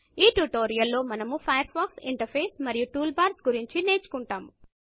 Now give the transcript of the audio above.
ఈ ట్యుటోరియల్ లో మనము ఫయర్ ఫాక్స్ ఇంటర్ఫేస్ మరియు టూల్ బార్స్ గురించి నేర్చుకుంటాము